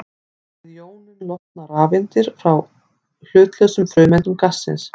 Við jónun losna rafeindir frá hlutlausum frumeindum gassins.